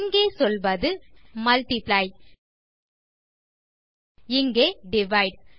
இங்கே சொல்வது மல்ட்டிப்ளை இங்கே டிவைடு